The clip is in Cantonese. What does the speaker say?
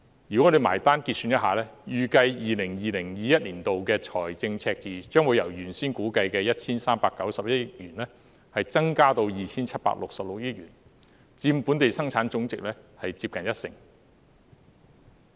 如果我們結算一下，預計 2020-2021 年度的財政赤字將會由原先估計的 1,391 億元，增至 2,766 億元，佔本地生產總值接近一成。